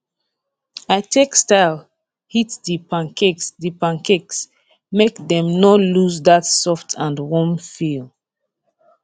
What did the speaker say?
i take style heat the pancakes the pancakes make dem no lose that soft and warm feel